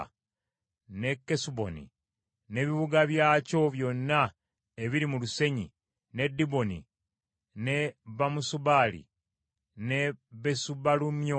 ne Kesuboni, n’ebibuga byakyo byonna ebiri mu lusenyi, ne Diboni ne Bamosi Baali, ne Besubaalumyoni;